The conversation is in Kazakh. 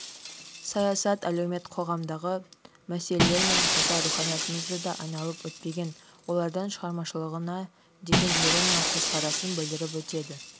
саясат әлеумет қоғамдағы мәселелермен қоса руханиятымызды да айналып өтпеген олардың шығармашылығына деген ирониялық көзқарасын білдіріп өтеді